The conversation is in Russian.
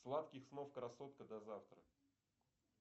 сладких снов красотка до завтра